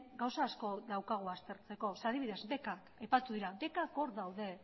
gauza asko daukagu aztertzeko adibidez bekak aipatu dira bekak hor daude